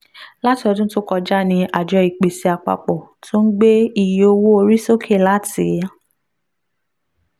láti ọdún tó kọjá ni àjọ ìpèsè àpapọ̀ ti ń gbé iye owó orí sókè láti